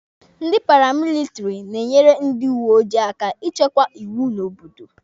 Ndị paramilitiri na-enyere ndị uweojii aka ichekwa iwu n'obodo.